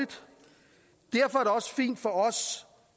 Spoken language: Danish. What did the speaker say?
derfor